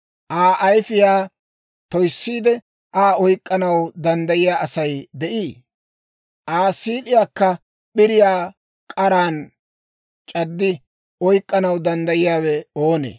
Aa ayifiyaa toyissiide, Aa oyk'k'anaw danddayiyaa Asay de'ii? Aa siid'iyaakka p'iriyaa k'aran c'addi oyk'k'anaw danddayiyaawe oonee?